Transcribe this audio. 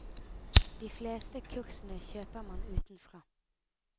De fleste kursene kjøper man utenfra.